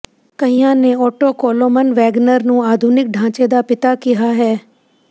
ਕਈਆਂ ਨੇ Otto Koloman Wagner ਨੂੰ ਆਧੁਨਿਕ ਢਾਂਚੇ ਦਾ ਪਿਤਾ ਕਿਹਾ ਹੈ